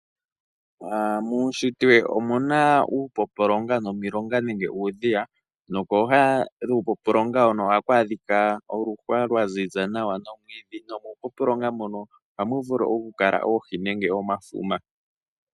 Muushitwe omuna uupompolonga nomilonga nenge uudhiya. Pooha dhuupompolonga ohapu adhika oluhwa lwaziza nawa nomwiidhi. Muupompolonga ohamu vulu okukala oohi nenge omafuma.